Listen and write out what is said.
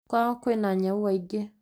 Kwao kwĩna nyau aingĩ